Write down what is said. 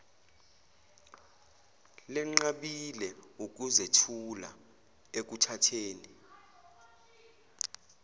lenqabile ukuzethula ekuthatheni